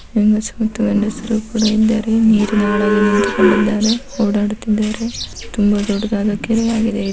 ಹೆಂಗಸರು ಮತ್ತು ಗಂಡಸರು ಕೂಡ ಇದ್ದಾರೆ ಓಡಾಡುತಿದ್ದರೆ ತುಂಬ ದೊಡ್ಡ್ ದಾದಾ ಕೆರೆ ಆಗಿದೆ ಇದು .